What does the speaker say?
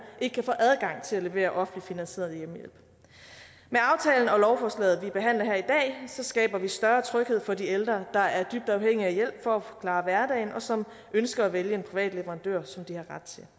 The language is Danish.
ikke kan få adgang til at levere offentligt finansieret hjemmehjælp med aftalen og lovforslaget vi behandler her i dag skaber vi større tryghed for de ældre der er dybt afhængige af hjælp for at klare hverdagen og som ønsker at vælge private leverandører som de har ret til